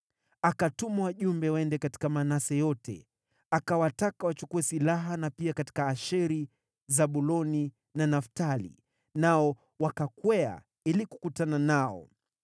Akatuma wajumbe waende katika Manase yote, akiwataka wachukue silaha na pia katika Asheri, Zabuloni na Naftali, nao wakakwea ili kukutana nao.